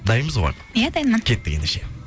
дайынбыз ғой иә дайынмын кеттік ендеше